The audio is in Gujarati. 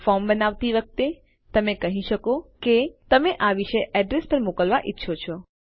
ફોર્મ બનાવતી વખતે તમે કહી શકો કે તમે આ વિશેષ એડ્રેસ પર મોકલવા ઈચ્છો છો